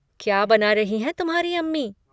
क्या बना रही हैं तुम्हारी अम्मी?